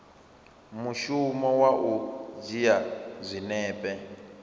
mushumo wa u dzhia zwinepe